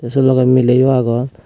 tay se logey mileyo agon.